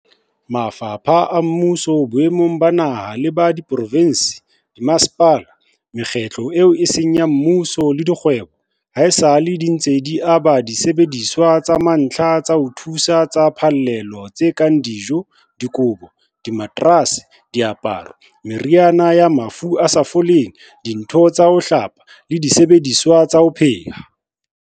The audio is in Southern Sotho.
Mafapha a mmuso boemong ba naha le ba diprovense, dimmasepala, mekgatlo eo e seng ya mmuso le dikgwebo, haesale di ntse di aba disebediswa tsa mantlha tsa dithuso tsa phallelo tse kang dijo, dikobo, dimaterase, diaparo, meriana ya mafu a sa foleng, dintho tsa ho hlapa le disebediswa tsa ho pheha.